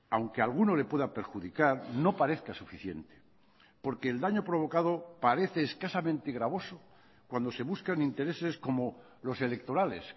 aunque a alguno le pueda perjudicar no parezca suficiente porque el daño provocado parece escasamente gravoso cuando se buscan intereses como los electorales